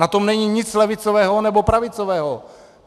Na tom není nic levicového nebo pravicového.